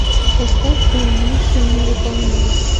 поставь фильм миссия невыполнима